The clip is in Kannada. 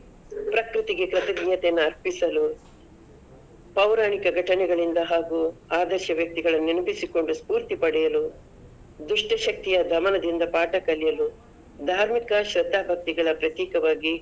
ಪ್ರಕೃತಿಗೆ ಕೃತಜ್ನ್ಯತೆಯನ್ನ ಅರ್ಪಿಸಲು ಪೌರಾಣಿಕ ಗಟನೆಗಳಿಂದ ಹಾಗೂ ಆದರ್ಶ ವ್ಯಕ್ತಿಗಳನ್ನು ನೆನಪಿಸಿಕೊಂಡು ಸ್ಪೂರ್ತಿ ಪಡೆಯಲು, ದುಷ್ಟ ಶಕ್ತಿಯ ದಮನದಿಂದ ಪಾಠ ಕಲಿಯಲು, ಧಾರ್ಮಿಕ ಶ್ರದ್ಧಾ ಬಕ್ತಿಗಳ ಪ್ರತೀಕವಾಗಿ.